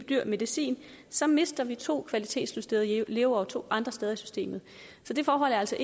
dyr medicin så mister vi to kvalitetsjusterede leveår to andre steder i systemet så det forhold er altså